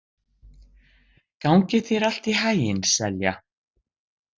Gangi þér allt í haginn, Selja.